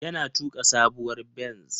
Yana tuka sabuwar benz.